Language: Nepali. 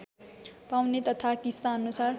पाउने तथा किस्ताअनुसार